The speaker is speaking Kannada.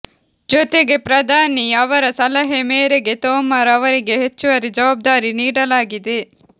ಜೊತೆಗೆ ಪ್ರಧಾನಿ ಅವರ ಸಲಹೆ ಮೇರೆಗೆ ತೋಮಾರ್ ಅವರಿಗೆ ಹೆಚ್ಚುವರಿ ಜವಾಬ್ದಾರಿ ನೀಡಲಾಗಿದೆ